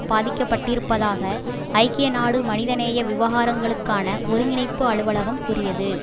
பாதிக்கப்பட்டிருப்பதாக ஐக்கிய நாடு மனித நேய விவகாரங்களுக்கான ஒருங்கிணைப்பு அலுவலகம் கூறியது